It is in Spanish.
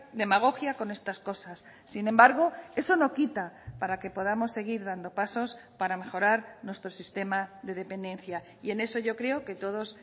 demagogia con estas cosas sin embargo eso no quita para que podamos seguir dando pasos para mejorar nuestro sistema de dependencia y en eso yo creo que todos